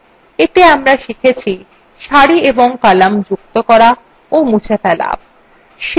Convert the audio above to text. এতে আমরা শিখেছিসারি এবং কলাম যুক্ত করা ও মুছে ফেলা